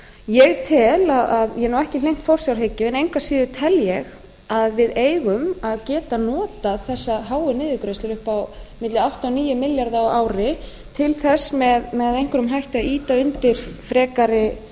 ég er nú ekki hlynnt forsjárhyggju en engu að síður tel ég að við eigum að geta notað þessar háu niðurgreiðslur upp á milli átta og níu milljarða á ári til þess með einhverjum hætti að ýta undir frekari